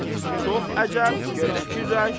Çox əcəb, get fikirləş.